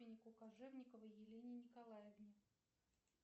кожевниковой елене николаевне